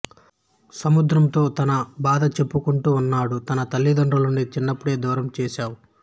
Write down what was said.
సముద్రం తో తన బాధ చెప్పుకుంటూ ఉంటాడు నా తల్లి దండ్రుల నుండి చిన్నప్పుడే దూరం చేసావ్